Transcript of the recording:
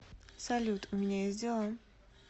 салют у меня есть дела